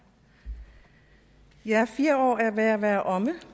ja fire år er ved at være omme